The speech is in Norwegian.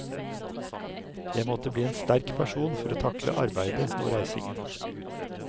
Jeg måtte bli en sterk person for å takle arbeidet og reisingen.